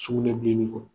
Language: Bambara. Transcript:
Sugunɛbilenni kɔ